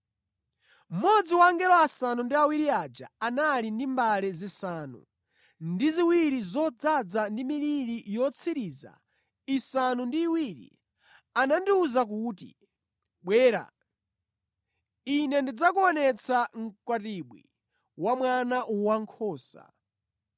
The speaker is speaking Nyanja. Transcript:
Mmodzi wa angelo asanu ndi awiri aja, anali ndi mbale zisanu ndi ziwiri zodzaza ndi miliri yotsiriza isanu ndi iwiri anandiwuza kuti, “Bwera, ine ndidzakuonetsa mkwatibwi wa Mwana Wankhosa.”